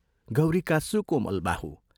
गौरीका सुकोमल बाहु!